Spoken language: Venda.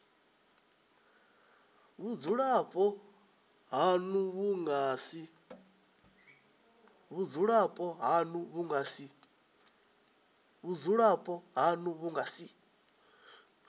vhudzulapo hanu vhu nga si